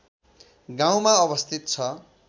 गाउँमा अवस्थित छ